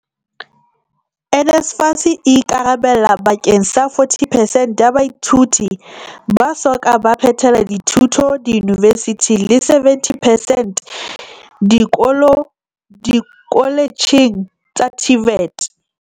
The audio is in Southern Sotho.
NSFAS e ikarabella bake ng sa 40 perecnt ya baithuti ba so ka ba phethela dithuto diyunivesithing le 70 percent dikoletjheng tsa TVET.